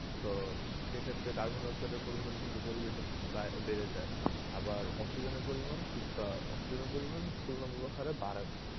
তো সেক্ষেত্রে carbon dioxide এর পরিমাণ কিন্তু পরিবেশে বা~ বেড়ে যায়. আবার oxygen এর পরিমান কিছুটা oxygen এর পরিমান তুলনামূলক হারে বাড়ে না.